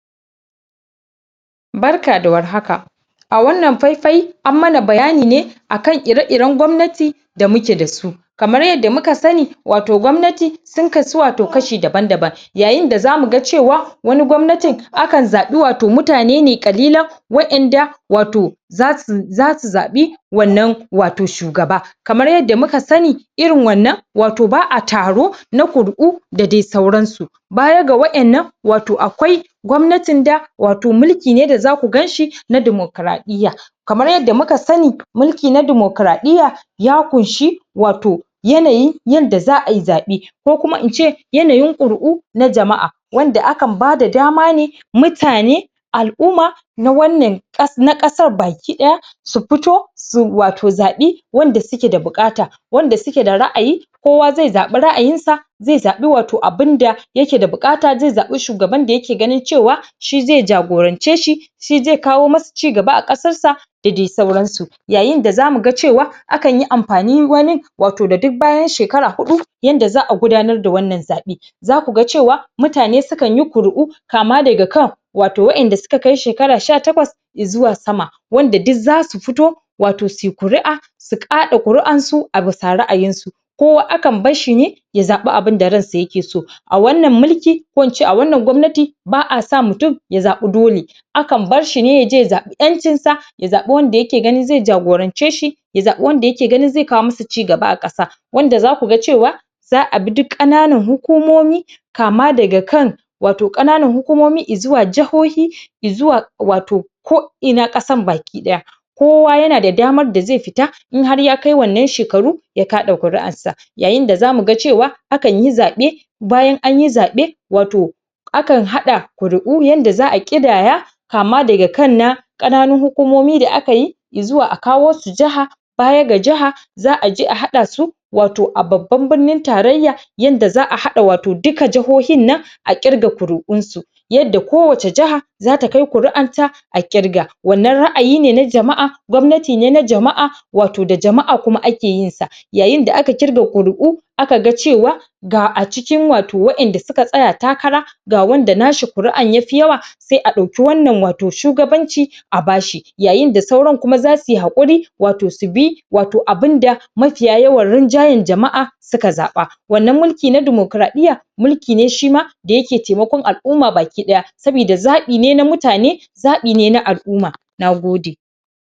Barka da war haka, a wannan fai-fai an mana bayani ne akan ire-iren gwamnati da muke dasu. Kamar yadda muka sani wato gwamnati sun kasu wato kashi daban-daban. Yayinda za muga cewa wani gwamnatin akan zaɓi wato mutane ne ƙalilan wa'inda wato zasu zasu zaɓi wannan wato shugaba, kamar yadda muka sani irin wannan wato ba'a taro na kuri'u da dai sauransu. Baya ga wa'innan wato akwai gwamnatin da mulki ne da zaku ganshi na dimokraɗiyya. Kamar yadda muka sani mulki na dimokraɗiyya, ya ƙunshi wato yanayin yadda za'ayi zaɓe, ko kuma ince yanayin ƙuri'u na jama'a wanda akan bada dama ne mutane, al'uma na wannan kas na kasar baki ɗaya su pito su wato zaɓi wanda suke da buƙata, wanda sukeda ra'ayi, kowa ze zaɓi ra'ayin sa ze zaɓi wato abinda yake da buƙata ze zaɓi shugaban da yake ganin cewa shi ze jagorance shi shi ze kawo masu cigaba a ƙasar sa da dai sauransu. Yayinda za muga cewa akanyi ampani wani wato da duk bayan shekara huɗu yanda za'a gudanar da wannan zaɓe. Za kuga cewa mutane sukanyi kuri'u kama daga kan wato wa'inda suka kai shekara sha takwas izuwa sama wanda duk zasu fito wato suyi kuri'a su ƙaɗa kuri'ansu a bisa ra'ayinsu. Kowa akan basshi ne ya zaɓi abinda ransa yake so a wannan mulki ko ince a wannan gwamnati ba'a sa mutum ya zaɓi dole akan barshi ne ya je ya zaɓi ƴancin sa ya zaɓi wanda yake ganin ze jagorance shi ya zaɓi wanda yake ganin ze kawo musu ci gaba a ƙasa wanda za kuga cewa za'abi duk ƙananan hukumomi kama daga kan wato ƙananan hukumomi izuwa jahohi zuwa wato ko'ina ƙasan baki ɗaya. Kowa yana da damar da ze fita in har ya kai wannan shekaru ya kaɗa ƙuri'arsa, yayinda za muga cewa akanyi zaɓe bayan anyi zaɓe wato akan haɗa kuri'u yanda za'a ƙidaya kama daga kan na ƙananun hukumomi da akayi izuwa a kawo su jiha baya ga jiha za'a je a haɗa su wato a babban birnin tarayya yanda za'a haɗa wato duka jahohinnan a ƙirga ƙuri'unsu yadda kowace jiha zata kai ƙuri'anta a ƙirga wanna ra'ayi ne na jama'a, gwamnati ne na jama'a, wato da jama,a kuma ake yinsa Yayinda aka ƙirga ƙuri'u aka ga cewa ga acikin wato wa'inda suka tsaya takara ga wanda nashi kuri'an yafi yawa se a ɗauki wannan wato shugabanci a bashi yayinda sauran kuma za suyi haƙuri wato su bi wato abinda mafiya yawan rinjayan jama'a suka zaɓa. Wannan mulki na dimokraɗiyya. mulki ne shima da yake taimakon al'umma baki ɗaya sabida zaɓi ne na mutane zaɓi ne na al'uma, nagode.